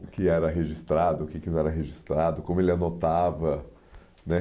O que era registrado, o que que não era registrado, como ele anotava, né?